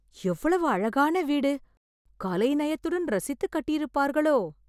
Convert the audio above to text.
எவ்வளவு அழகான வீடு கலை நயத்துடன் ரசித்து கட்டியிருப்பார்களோ!